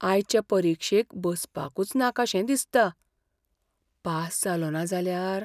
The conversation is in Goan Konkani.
आयचे परिक्षेक बसपाकूच नाका शें दिसता. पास जालोंना जाल्यार?